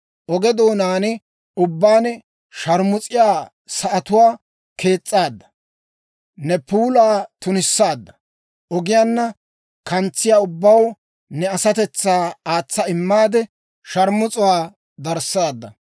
Oge doonaan ubbaan sharmus'iyaa sa'atuwaa kees's'aadda, ne puulaa tunissaadda; ogiyaanna kantsiyaa ubbaw ne asatetsaa aatsa immaade, sharmus'uwaa darissaadda.